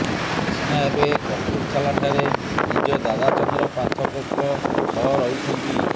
କ୍ରିଷ୍ଣା ଏବେ କପୁରଥାଲାଠାରେ ନିଜ ଦାଦା ଚନ୍ଦ୍ର ପାଥକଙ୍କ ସହ ରହୁଛନ୍ତି